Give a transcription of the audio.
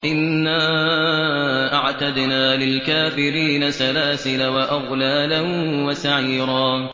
إِنَّا أَعْتَدْنَا لِلْكَافِرِينَ سَلَاسِلَ وَأَغْلَالًا وَسَعِيرًا